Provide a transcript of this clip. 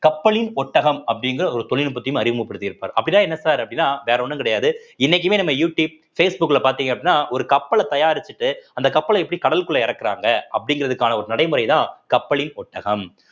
கப்பலின் ஒட்டகம் அப்படிங்கிற ஒரு தொழில்நுட்பத்தையும் அறிமுகப்படுத்திருப்பாரு அப்படின்னா என்ன sir அப்படின்னா வேற ஒண்ணும் கிடையாது இன்னைக்குமே நம்ம யூடியூப் பேஸ்புக்ல பாத்தீங்க அப்படின்னா ஒரு கப்பலை தயாரிச்சுட்டு அந்த கப்பலை எப்படி கடலுக்குள்ள இறக்கறாங்க அப்படிங்கிறதுக்கான ஒரு நடைமுறைதான் கப்பலின் ஒட்டகம்